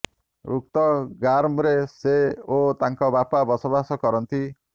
ଉକ୍ତ ଗା୍ରମରେ ସେ ଓ ତାଙ୍କ ବାପା ବସବାସ କରନ୍ତି